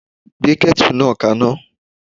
Gbé ketu náà kaná.